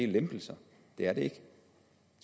lempelser det er det ikke